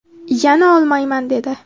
Yana olmayman dedi”.